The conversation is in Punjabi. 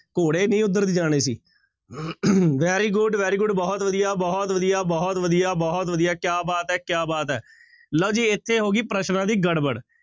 ਘੋੜੇ ਨਹੀਂ ਉੱਧਰ ਦੀ ਜਾਣੇ ਸੀ very good, very good ਬਹੁਤ ਵਧੀਆ, ਬਹੁਤ ਵਧੀਆ, ਬਹੁਤ ਵਧੀਆ, ਬਹੁਤ ਵਧੀਆ, ਕਿਆ ਬਾਤ ਹੈ, ਕਿਆ ਬਾਤ ਹੈ ਲਓ ਜੀ ਇੱਥੇ ਹੋ ਗਈ ਪ੍ਰਸ਼ਨਾਂ ਦੀ ਗੜਬੜ